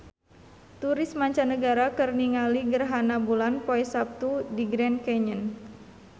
Turis mancanagara keur ningali gerhana bulan poe Saptu di Grand Canyon